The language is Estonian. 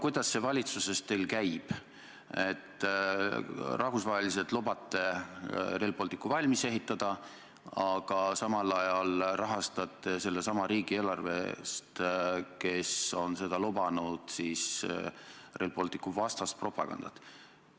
Kuidas see valitsuses teil käib, et rahvusvaheliselt lubate Rail Balticu valmis ehitada, aga samal ajal rahastate sellesama riigi eelarvest, kes on seda lubanud, Rail Balticu vastast propagandat?